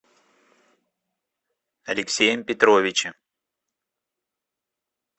алексеем петровичем